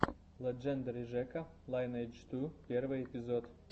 леджендари жека лайнэйдж ту первый эпизод